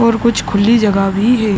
और कुछ खुली जगह भी है।